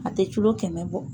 A tɛ culo kɛmɛ bɔ.